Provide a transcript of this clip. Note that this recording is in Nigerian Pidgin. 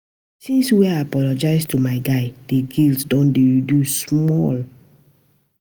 Since wey I apologize to my guy, di guilt don dey reduce small.